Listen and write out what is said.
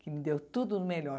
Que me deu tudo o melhor.